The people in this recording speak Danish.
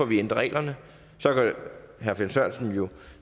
vi ændrer reglerne så kan herre finn sørensen jo